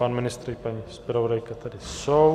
Pan ministr i paní zpravodajka tady jsou.